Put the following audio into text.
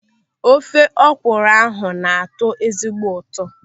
Ofe ọkwụrụ ahụ na-atọ ezigbo ụtọ.